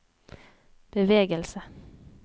bevegelse